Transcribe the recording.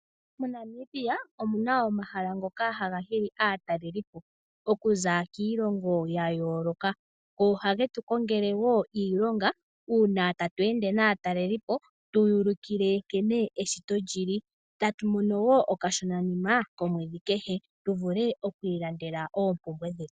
MoNamibia omuna omahala ngoka haga hili aatalelipo okuza kiilongo yayooloka. Ohage tu kongele woo iilonga uuna tatu ende naatalelipo tuya ulikile nkene eshito lili, etatu mono woo okashonanima komwedhi kehe tuvule okwiilandela oompumbwe dhetu.